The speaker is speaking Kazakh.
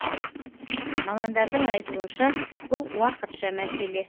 мамандардың айтуынша бұл уақытша мәселе